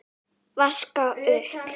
Vaska upp?